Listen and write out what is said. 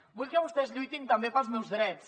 vull que vostès lluitin també pels meus drets